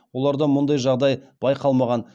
оларда мұндай жағдай байқалмаған